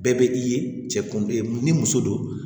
Bɛɛ bɛ i ye cɛ ni muso don